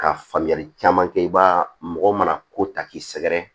Ka faamuyali caman kɛ i ba mɔgɔ mana ko ta k'i sɛgɛrɛ